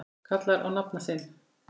kallar á nafna sinn